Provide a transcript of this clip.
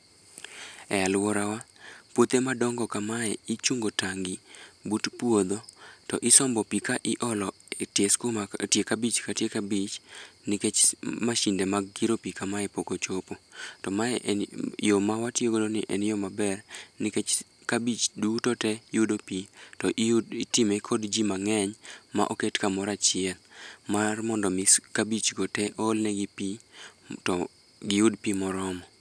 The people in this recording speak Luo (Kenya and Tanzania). E aluora wa puothe madongo ka mae ichungo tangi but puodho to isombo pi ka iolo e tie skuma e tie kabich ka tie kabich nikech mashinde mag kiro pi ka mae pok ochopo. To ma en yo ma watiyo go ni en yo ma ber nikech kabich duto te yudo pi to itimo kod ji mang'eny ma oket ka moro achiel mar mondo mi kabich go te ool ne gi pi to gi yud pi moromo.